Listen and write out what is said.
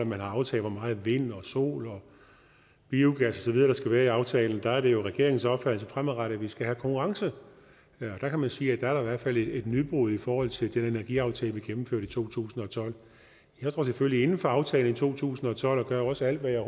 man har aftalt hvor meget vind og sol og biogas videre der skal være i aftalen der er det jo regeringens opfattelse fremadrettet at vi skal have konkurrence der kan man sige at der i hvert fald er et nybrud i forhold til den energiaftale vi gennemførte i to tusind og tolv jeg står selvfølgelig inde for aftalen fra to tusind og tolv og gør også alt hvad jeg